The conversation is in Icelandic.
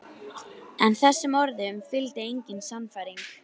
En þessum orðum fylgdi engin sannfæring.